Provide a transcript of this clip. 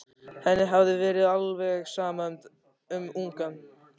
Henni hafði verið alveg sama um ungann.